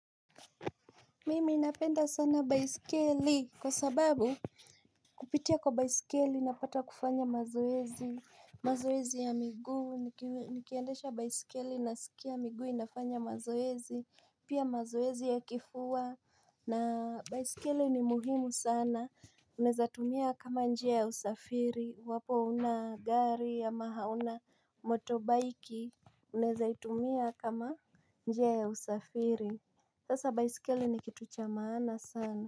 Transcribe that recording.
Mimi napenda sana baisikeli kwa sababu kupitia kwa baisikeli na pata kufanya mazoezi. Mazoezi ya miguu nikiendesha baisikeli nasikia miguu inafanya mazoezi. Pia mazoezi ya kifua na baisikeli ni muhimu sana. Unaeza tumia kama njia ya usafiri iwapo huna gari ama hauna motorbike. Unaeza itumia kama njia ya usafiri sasa baisikeli ni kitu cha maana sana.